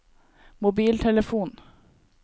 mobiltelefon